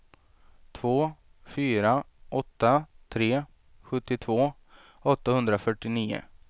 två fyra åtta tre sjuttiotvå åttahundrafyrtionio